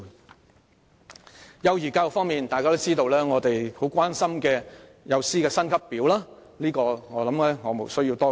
在幼兒教育方面，大家也知道我們很關注幼師薪級表，相信無須多說。